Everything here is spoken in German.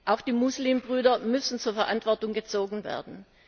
Auch die Muslimbrüder müssen zur Verantwortung gezogen werden.